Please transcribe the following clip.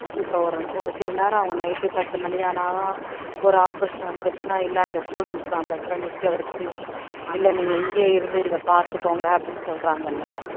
இப்ப ஒரு ஒரு சில நேரம் அவங்க night பத்து மணி ஆனாலும் ஒரு operation வந்துருச்சுன்னா இல்ல அந்த students எல்லாம் அந்த இடத்துல நிக்க வச்சு இல்லை நீங்க இங்கேயே இருந்து இதை பார்த்துக்கோங்க அப்படின்னு சொல்றாங்கல்ல